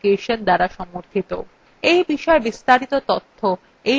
এই বিষয় বিস্তারিত তথ্য এই লিঙ্কএ প্রাপ্তিসাধ্য